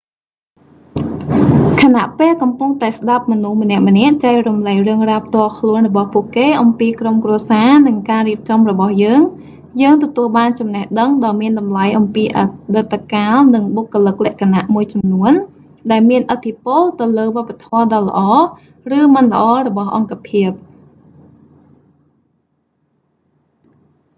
ខណៈពេលកំពុងតែស្តាប់មមនុស្សម្នាក់ៗចែករំលែករឿងរ៉ាវផ្ទាល់ខ្លួនរបស់ពួកគេអំពីក្រុមគ្រួសារ និងការរៀបចំរបស់យើង យើងទទួលបានចំណេះដឹងដ៏មានតម្លៃអំពីអតីតកាល និងបុគ្គលិកលក្ខណៈមួយចំនួន ដែលមានឥទ្ធិពលទៅលើវប្បធម៌ដ៏ល្អ ឬមិនល្អរបស់អង្គភាព